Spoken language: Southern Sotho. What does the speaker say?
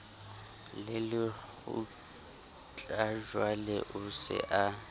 le lekgutlajwale o se a